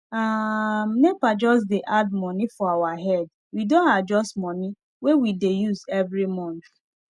um nepa just dey add money for our head we don adjust money wey we dey use every month